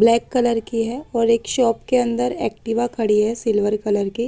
black colour की है और एक शॉप के अंदर एक्टिवा खड़ी है सिल्वर कलर की--